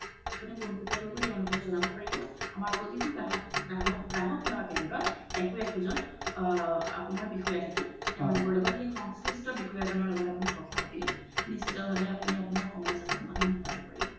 আপুনি পুন্পোতিযা কৰি তেওলোকক জোনাব পাৰিব আমৰ প্ৰতি গ্ৰাহক সেৱা কেন্দ্ৰত একো একো জন বিষয়া থাকে সেই বিষয়া জনৰ ল্গ্ত কোথা পাতিলে নিশিতে ভাবে আপুনি আপুনাৰ সমস্যা তোৰ সমধান গোতাব পাৰিব